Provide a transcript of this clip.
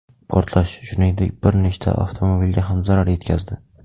Portlash, shuningdek, bir nechta avtomobilga ham zarar yetkazdi.